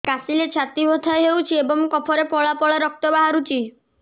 କାଶିଲେ ଛାତି ବଥା ହେଉଛି ଏବଂ କଫରେ ପଳା ପଳା ରକ୍ତ ବାହାରୁଚି